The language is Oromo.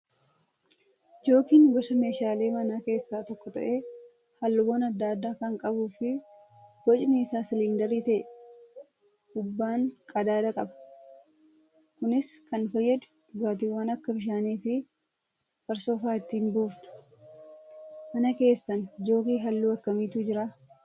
Jookiin gosa meeshaalee manaa keessaa tokko ta'ee, halluuwwan adda addaa kan qabuu fi bocni isaa siliindarii ta'ee ubbaan qadaada qaba. Kunis kan fayyadu dhugaatiiwwan akka bishaanii fi farsoo fa'aa ittiin buufna. Mana keessan jookii halluu akkamiitu jiraa?